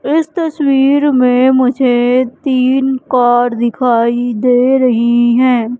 इस तस्वीर में मुझे तीन कार दिखाई दे रही है।